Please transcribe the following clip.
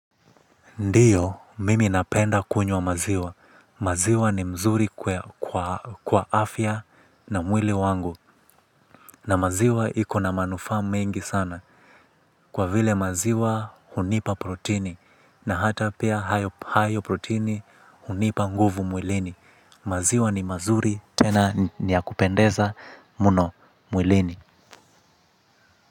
Ndiyo, mimi napenda kunywa maziwa. Maziwa ni mzuri kwa afya na mwili wangu. Na maziwa ikona manufa mengi sana. Kwa vile maziwa hunipa protini. Na hata pia hayo protini hunipa nguvu mwilini. Maziwa ni mazuri tena niya kupendeza muno mwilini.